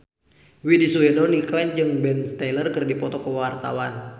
Widy Soediro Nichlany jeung Ben Stiller keur dipoto ku wartawan